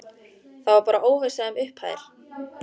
Það var bara óvissa um upphæðir?